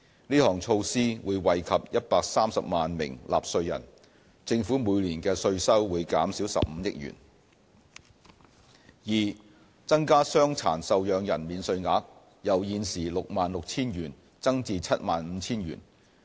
這項措施會惠及130萬名納稅人，政府每年的稅收會減少15億元； b 增加傷殘受養人免稅額，由現時 66,000 元增至 75,000 元。